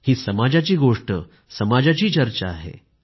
ही समाजाची गोष्ट समाजाची चर्चा आहे